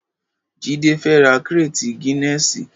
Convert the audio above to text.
Jide fè rà kréti gìnèsí